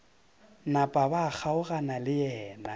napa ba kgaogana le yena